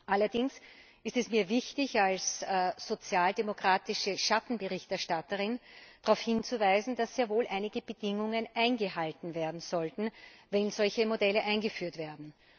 Allerdings ist es mir als sozialdemokratische Schattenberichterstatterin wichtig, darauf hinzuweisen, dass sehr wohl einige Bedingungen eingehalten werden sollten, wenn solche Modelle eingeführt werden.